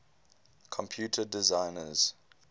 computer designers